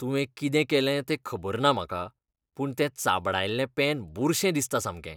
तुवें कितें केलें तें खबर ना म्हाका पूण तें चाबडायल्लें पेन बुरशें दिसता सामकें.